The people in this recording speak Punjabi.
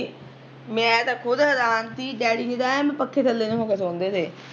ਮੈਂ ਤਾਂ ਖੁਦ ਹੈਰਾਨ ਸੀ ਡੈਡੀ ਜਿਦਾਂ ਐ ਨੂੰ ਪੱਖੇ ਥੱਲੇ ਨੂੰ ਹੋ ਕੇ ਸੋਂਦੇ ਤੇ